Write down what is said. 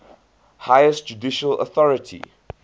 highest judicial authority